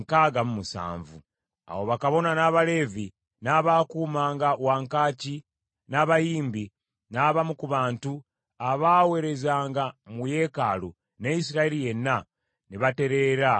Awo bakabona, n’Abaleevi, n’abaakuumanga wankaaki, n’abayimbi, n’abamu ku bantu, abaaweerezanga mu yeekaalu, ne Isirayiri yenna, ne batereera mu bibuga byabwe. Ezera Asoma Etteeka Awo mu mwezi ogw’omusanvu,